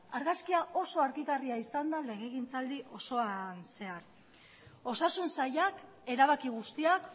argazkia oso argigarria izan da legegintzaldi osoan zehar osasun sailak erabaki guztiak